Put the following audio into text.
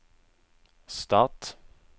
stat